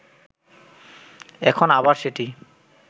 এখন আবার সেটি